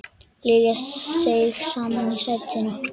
Lilla seig saman í sætinu.